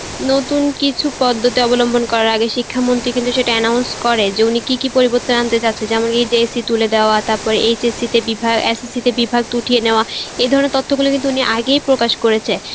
নতুন কিছু পদ্ধুতি অবলোম্হন করার আগে শিক্ষা মন্ত্রী কিন্তু সেটা announce করে যে উনি কি মি পদ্ধুতি পরিবর্তে আনতে যাচ্ছেন যেমন কি JC তুলে দেওয়া, তারপর HAC তে বিভাগ উঠিয়ে নেওয়া এই ধরনের তথ্যগুলো কিন্তু উনি আগেই প্রকাশ করেছে